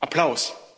Applaus.